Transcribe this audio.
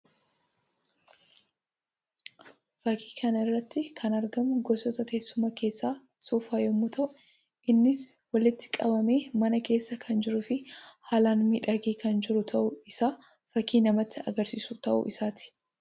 Fakkii kana irratti kan argamu gosoota teessumaa keessaa soofaa yammuu ta'u; innis walitti qabamee mana kesssa kan jiruu fi haalaan miidhagee kan jiru ta'uu isaa fakkii namatti agarsiisu ta'u isaati.